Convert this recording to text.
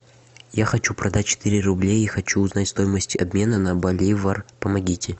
я хочу продать четыре рублей и хочу узнать стоимость обмена на боливар помогите